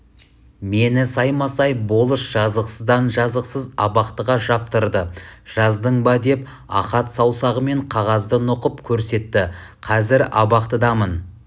мені саймасай болыс жазықсыздан-жазықсыз абақтыға жаптырды жаздың ба деп ахат саусағымен қағазды нұқып көрсетті қазір абақтыдамын